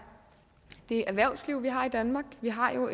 det erhvervsliv vi har i danmark vi har jo